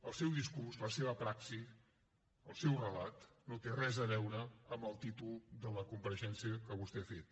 el seu discurs la seva praxi el seu relat no tenen res a veure amb el títol de la compareixença que vostè ha fet